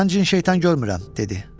Mən cin-şeytan görmürəm, dedi.